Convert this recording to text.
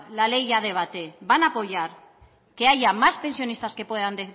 la ley a debate van a apoyar que haya más pensionistas que puedan